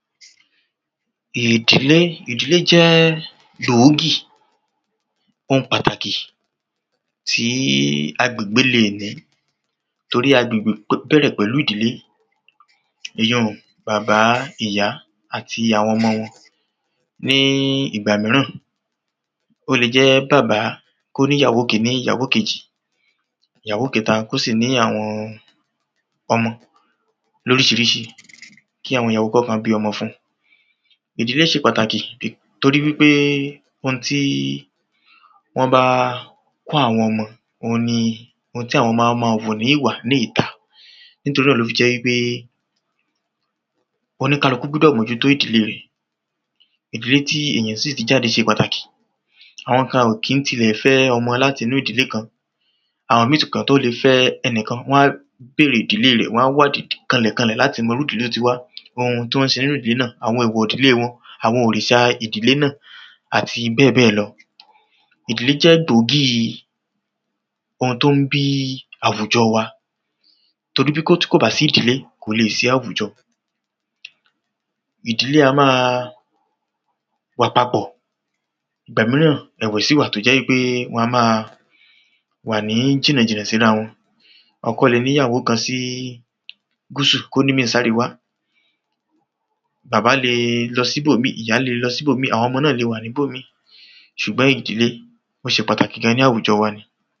ìdílé, ìdílé jẹ́ gbòógì oun pàtàkì tí agbègbè léè ní torí agbègbè bẹ̀rẹ̀ pẹ̀lú ìdílé. èyí ùn bàbá, ìyá àti àwọn ọmọ wọn ní ìgbà míràn ó le jẹ́ bàbá kó ní ìyàwó kíní, ìyàwó kejì, ìyàwó kẹ́ta kó sì ní àwọn ọmọ lóríṣiríṣi kí àwọn ìyàwó kànkàn bí ọmọ fun ìdílé ṣe pàtàkì bì torí wípé oun tí wọ́n bá kọ́ àwọn ọmọ, òun ni oun tí àwọn ọmọ á máa wù ní ìwà ní ìta nítorí ẹ̀ ló fi jẹ́ wípé olúkálukú gbúdọ̀ mó jú tó ìdílé rẹ̀ ìdílé tí ènìyàn sì ti jáde ṣe pàtàkì àwọn kan ò kín-ín ti lẹ̀ fẹ́ ọmọ láti inú ìdílé kan, àwọn míì kán tó lè fẹ́ ẹnikan wán bèrè ìdílé rẹ̀, wán wádìí kanlẹ̀kanlẹ̀ láti mọ irú ìdílé tó ti wá oun tán ṣe nínú ìdílé náà, àwọn èèwọ̀ ìdílé wọn, àwọn òrìsà ìdílé náà àti bẹ́ẹ̀bẹ́ẹ̀ lọ ìdílé jẹ́ gbòógì oun tó ń bí àwùjọ wa torí bíkòt tí kò bá sí ìdílé kò lè sí àwùjọ ìdílé a máa wà papọ̀ ìgbà míràn ẹ̀wẹ̀ sí wà tó jẹ́ wípé wan máa wà ní jìnàjìnà sí ra wọn ọkọ le ní ìyàwó kan ní gúsù kó ní ìmí sáríwá bàbá le lọ síbò míì, ìyá le lọ síbò míì, àwọn ọmọ náà lè wà níbò míì ṣùgbọ́n ìdílé ó ṣe pàtàkì gan ní àwùjọ wa